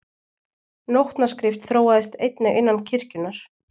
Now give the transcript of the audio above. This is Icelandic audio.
Nótnaskrift þróaðist einnig innan kirkjunnar.